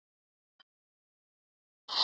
Perlan að leggja af stað